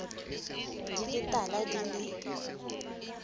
di le tala di le